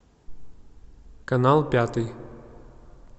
канал пятый